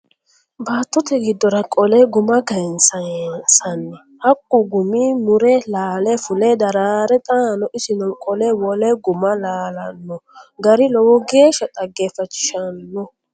Baattote giddora qolle guma kayinsanni hakku gumi mure laale fule darare xaano isino qolle wole guma laalano gari lowo geeshsha dhaggefachishano.